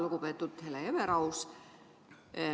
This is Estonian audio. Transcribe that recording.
Lugupeetud Hele Everaus!